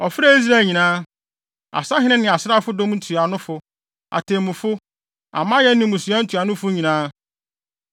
Ɔfrɛɛ Israel nyinaa, asahene ne asraafodɔm ntuanofo, atemmufo, amanyɛ ne mmusua ntuanofo nyinaa.